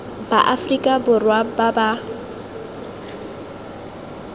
ba aforika borwa ba ba